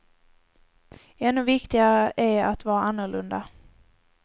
Ännu viktigare är att vara annorlunda.